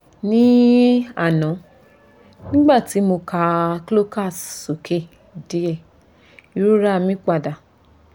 ní àná nígbà tí mo ka slokas sókè díẹ̀ ìrora mi padà